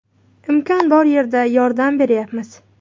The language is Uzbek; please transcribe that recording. Imkon bor yerda yordam beryapmiz.